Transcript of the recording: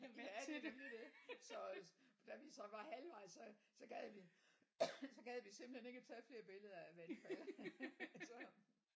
Ja det er nemlig det så da vi så var halvvejs så så gad vi så gad vi simpelthen ikke at tage flere billeder af vandfald så